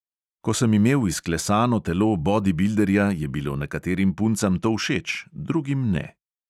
Ko sem imel izklesano telo bodibilderja, je bilo nekaterim puncam to všeč, drugim ne.